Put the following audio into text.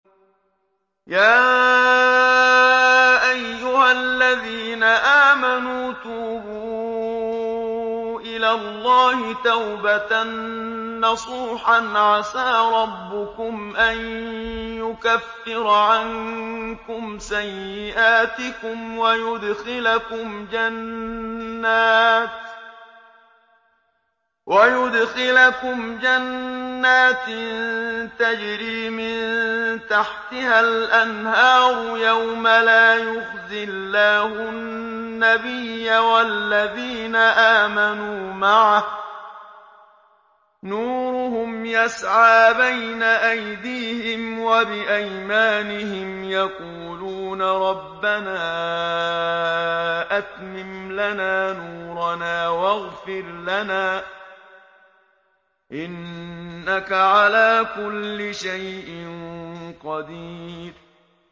يَا أَيُّهَا الَّذِينَ آمَنُوا تُوبُوا إِلَى اللَّهِ تَوْبَةً نَّصُوحًا عَسَىٰ رَبُّكُمْ أَن يُكَفِّرَ عَنكُمْ سَيِّئَاتِكُمْ وَيُدْخِلَكُمْ جَنَّاتٍ تَجْرِي مِن تَحْتِهَا الْأَنْهَارُ يَوْمَ لَا يُخْزِي اللَّهُ النَّبِيَّ وَالَّذِينَ آمَنُوا مَعَهُ ۖ نُورُهُمْ يَسْعَىٰ بَيْنَ أَيْدِيهِمْ وَبِأَيْمَانِهِمْ يَقُولُونَ رَبَّنَا أَتْمِمْ لَنَا نُورَنَا وَاغْفِرْ لَنَا ۖ إِنَّكَ عَلَىٰ كُلِّ شَيْءٍ قَدِيرٌ